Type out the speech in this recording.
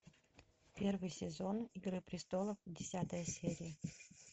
первый сезон игры престолов десятая серия